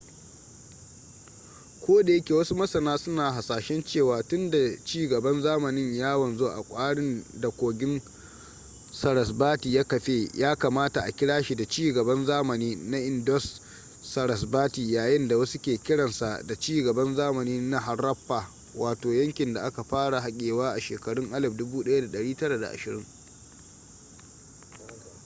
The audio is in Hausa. koda yake wasu masana suna hasashen cewa tun da ci gaban zamanin ya wanzu a kwarin da kogin sarasvati ya kafe ya kamata a kira shi da ci gaban zamani na indus-sarasvati yayin da wasu ke kiransa da ci gaban zamani na haraffa wato yankin da aka fara hakewa a shekarun 1920